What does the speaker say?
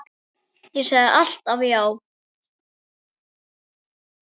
Ég sagði alltaf já.